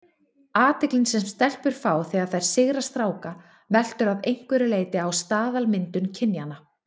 Athyglin sem stelpur fá þegar þær sigra stráka veltur að einhverju leyti á staðalmyndum kynjanna.